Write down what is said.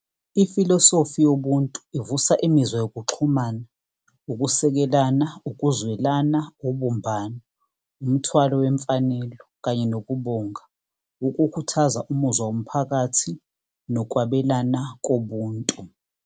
Ifilosofi yobuntu ivusa imizwa yokuxhumana, ukusikelana, ukuzwelana, ubumbano, umthwalo wemfanelo kanye nokubonga, ukukhuthaza umuzwa womphakathi nokwabelana kobuntu.